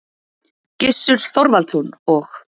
Gissur Þorvaldsson og